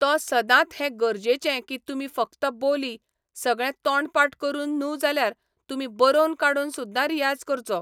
So सदांत हें गरजेचें की तुमी फक्त बोली, सगळें तोंडपाट करून न्हू जाल्यार तुमी बरोवन काडून सुद्दां रियाज करचो.